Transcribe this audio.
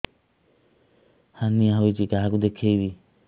hernia ହୋଇଛି କାହାକୁ ଦେଖେଇବି